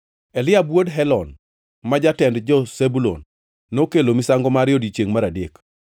Eliab wuod Helon, ma jatend jo-Zebulun nokelo misango mare e odiechiengʼ mar adek.